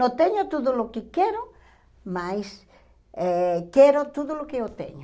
Não tenho tudo o que quero, mas eh quero tudo o que eu tenho.